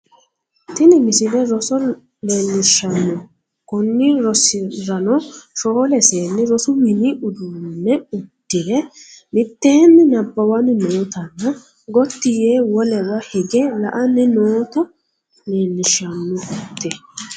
tini msile roso leellishshanno konni rosirano shoole seenni rosu mini uddano uddire mitteenni nabbawanni nootanna gotti yee wolewa hige la"anni noota leellishshannote